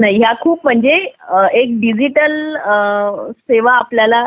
नाही ह्या खूप म्हणजे डिजिटल सेवा आपल्याला